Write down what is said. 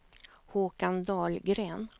Håkan Dahlgren